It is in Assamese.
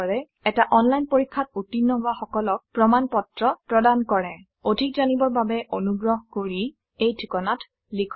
এটা অনলাইন পৰীক্ষাত উত্তীৰ্ণ হোৱা সকলক প্ৰমাণ পত্ৰ প্ৰদান কৰে অধিক জানিবৰ বাবে অনুগ্ৰহ কৰি contactspoken tutorialorg এই ঠিকনাত লিখক